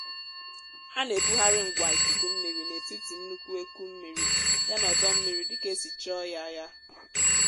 á nà ebugharị ngwa ikuku mmiri n'ètiti nnukwu eku mmiri yana ódómmiri dịkà ēsì chọọ yā yā